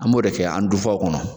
An b'o de kɛ an dufaw kɔnɔ.